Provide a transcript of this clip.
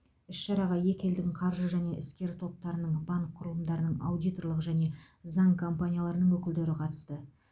іс шараға екі елдің қаржы және іскер топтарының банк құрылымдарының аудиторлық және заң компанияларының өкілдері қатысты